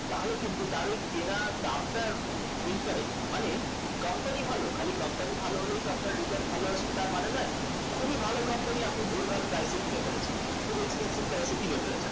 তাহলে কিন্তু তার ওই কেনা দামটা incorrect মানে company ভালো খালি company ভালো হলেই তো return ভালো আসবে তার মানে নেই খুবই ভালো company আপনি ভুলভাল price এ কিনে ফেলেছেন খুব expensive price এ কিনে ফেলেছেন